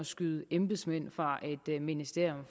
skyde embedsmænd fra et ministerium